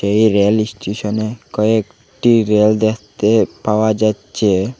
এই রেল ইসস্টেশনে কয়েকটি রেল দেখতে পাওয়া যাচ্ছে।